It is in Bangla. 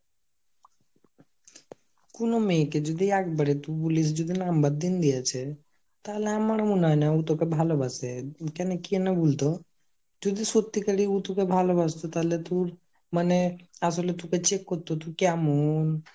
কুনো মেয়েকে যদি একবারে তুই বলিস যদি number দিন দিয়েছে তাহলে আমার মনে হয়না ও তোকে ভালোবাসে, কেনে কেন বুলতো যদি সত্যিকারে উ তোকে ভালোবাসতো তাহলে তুর মানে আসলে তোকে check করতো তুই কেমন,